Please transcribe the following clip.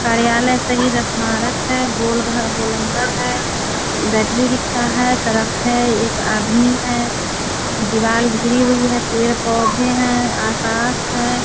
कार्यालय शहीद स्मारक है गोल घर गोलंबर है बैटरी रिक्सा है सड़क है एक आदमी है हुई है पेड़-पौधे हैं आकाश है।